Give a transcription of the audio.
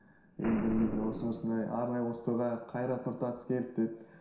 енді бір кезде осындай осындай арнайы осы тойға қайрат нұртас келді деді